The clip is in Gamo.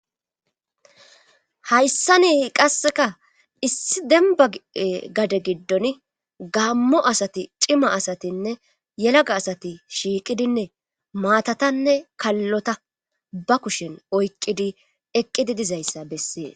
hayssanii qasseka issi demba gade giddon gammo asati cima asatinne yelaga asati shiiqidinne maatatanne kallota ba kushen oyqqidi eqqidi dizayssa bessee